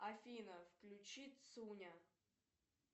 афина включи цуня